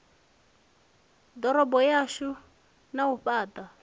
ḓorobo dzashu na u fhaṱha